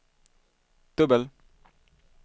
dubbel